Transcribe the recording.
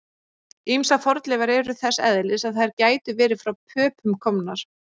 Ýmsar fornleifar eru þess eðlis að þær gætu verið frá Pöpum komnar.